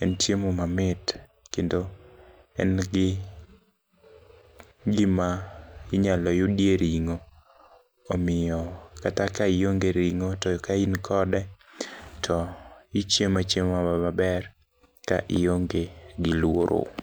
en chiemo mamit kendo en gi gima inyalo yudie ring'o. Omiyo kata ka ionge ring'o to ka in kode to ichiema chiema maber ka ionge gi luoro.